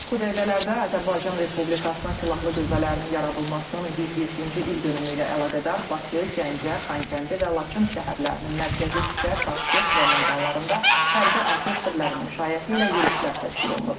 Bu dəqiqələrdə Azərbaycan Respublikasının silahlı qüvvələrinin yaradılmasının 107-ci ildönümü ilə əlaqədar Bakı, Gəncə, Xankəndi və Laçın şəhərlərinin mərkəzi küçə, prospekt və meydanlarında hərbi orkestrərin müşayiəti ilə yürüşlər təşkil olunur.